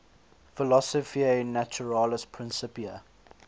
philosophiae naturalis principia